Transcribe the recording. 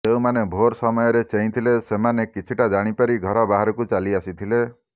ଯେଉଁମାନେ ଭୋର ସମୟରେ ଚେଇଁଥିଲେ ସେମାନେ କିଛିଟା ଜାଣିପାରି ଘର ବାହାକୁ ଚାଲି ଆସିଥିଲେ